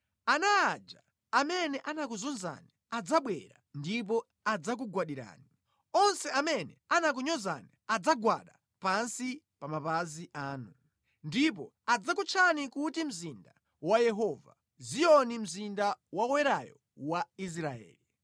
Ana aja amene anakuzunzani adzabwera ndipo adzakugwadirani; onse amene anakunyozani adzagwada pansi pa mapazi anu. Ndipo adzakutchani kuti Mzinda wa Yehova; Ziyoni mzinda wa Woyerayo wa Israeli.